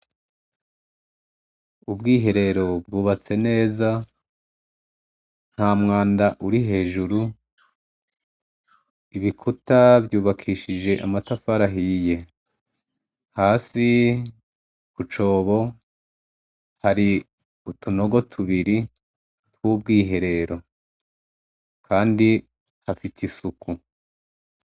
Ubwiherero bwubatse neza nta mwanda uri hejuru ibikuta vyubakishije amatafarahiye hasi kucobo hari utunogo tubiri twubwiherero, kandi hafite isuku.